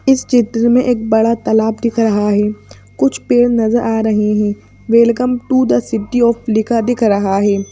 इस चित्र में एक बड़ा तालाब दिख रहा है कुछ पेड़ नजर आ रहे है welcome to the city of लिखा दिख रहा है।